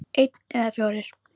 Einn eða fjórir?